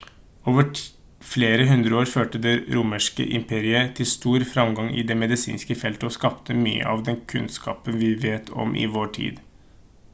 over flere århundrer førte det romerske imperiet til stor fremgang i det medisinske feltet og skapte mye av den kunnskapen vi vet om i vår tid